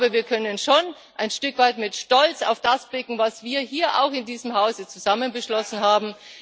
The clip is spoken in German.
Wir können schon ein Stück weit mit Stolz auf das blicken, was wir auch hier in diesem Hause zusammen beschlossen haben.